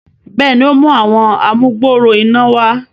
béèni, o mú Àwọn amugbooro iná wá.